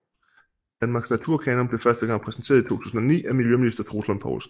Danmarks Naturkanon blev første gang præsenteret i 2009 af miljøminister Troels Lund Poulsen